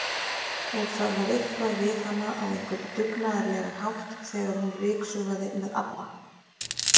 Og það var eitthvað við hana á einhvern dugnaðarlegan hátt þegar hún ryksugaði með ABBA